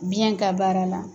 Biyɛn ka baara la.